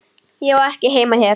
Ég á ekki heima hér.